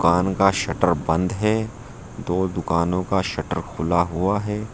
दुकान का शटर बंद है दो दुकानों का शटर खुला हुआ है।